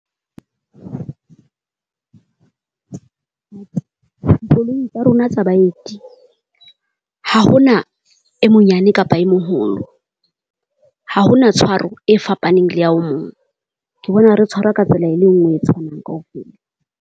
Dikoloi tsa rona tsa baeti, ha hona e monyane kapa e moholo, ha hona tshwaro e fapaneng le ya o mong. Ke bona re tshwarwa ka tsela e le ngwe e tshwanang kaofela.